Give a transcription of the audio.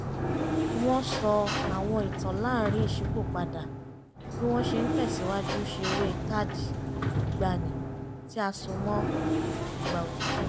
wọ́n sọ àwọn ìtàn láàrin ìṣípòpadà bí wọ́n ṣe ń tẹ̀sìwájú ṣeré káàdì ìgbaanì tí a só mọ́ ìgbà òtútù